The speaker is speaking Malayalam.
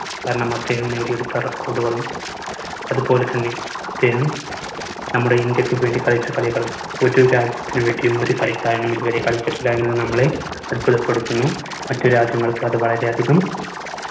കാരണം അദ്ദേഹം നേടിയെടുത്ത record ഉകളും അതുപോലെതന്നെ അദ്ദേഹം നമ്മുടെ ഇന്ത്യക്ക് വേണ്ടി കളിച്ച കളികൾ ഒരു രാജ്യത്തിനു വേണ്ടിയും ഒരു കളിക്കാരനും ഇതുവരെ കളിച്ചിട്ടില്ല എന്നത് നമ്മളെ അത്ഭുതപ്പെടുത്തുന്നു. മറ്റു രാജ്യങ്ങൾക്ക് അത് വളരെ അധികം